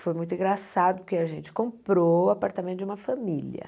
Foi muito engraçado, porque a gente comprou o apartamento de uma família.